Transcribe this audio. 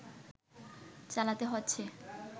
চালাতে হচ্ছে